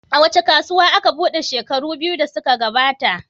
Wace kasuwa aka buɗe shekaru biyu da suka gabata?